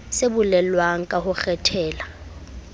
se bolelwang ka ho kgethela